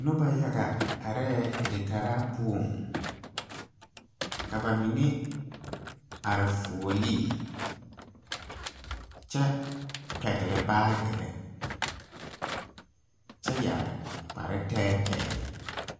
Nobɔ yaga arɛɛ dikaraa poɔŋ ka ba mine are fuolee kyɛ pɛgle baagirre kyɛ yɛre kpare tɛɛtɛɛ.